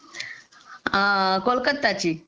कोलकत्याची